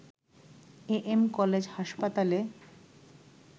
AM. College হাসপাতালে